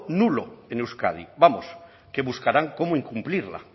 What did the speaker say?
nulo en euskadi vamos que buscarán cómo incumplirla